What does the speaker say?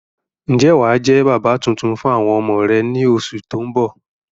Ń jẹ́ wàá jẹ́ bàbà tuntun fún àwọn ọmọ rẹ ni oṣù tóun bọ̀